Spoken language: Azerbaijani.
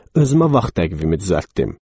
Özümə vaxt təqvimi düzəltdim.